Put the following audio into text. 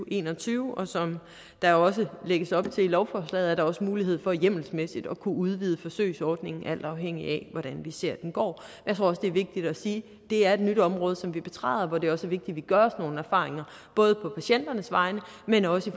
og en og tyve og som der også lægges op til i lovforslaget er der også mulighed for hjemmelsmæssigt at kunne udvide forsøgsordningen alt afhængigt af hvordan vi ser den går jeg tror også det er vigtigt at sige at det er et nyt område som vi betræder hvor det også at vi gør os nogle erfaringer både på patienternes vegne men også